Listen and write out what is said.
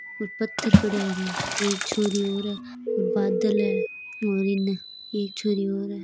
पत्थर पड़िया है एक छोरी और है बादल है और इनने एक छोरी और है।